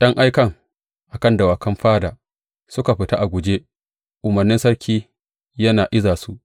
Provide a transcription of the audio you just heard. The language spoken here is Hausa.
’Yan aikan, a kan dawakan fada, suka fita a guje, umarnin sarki yana iza su.